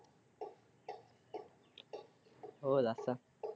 ਹੋਰ ਲਾਤਾ।